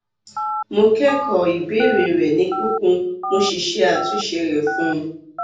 mo kẹkọọ ìbéèrè rẹ ní kíkún mo sì ṣe àtúnṣe rẹ fún ọ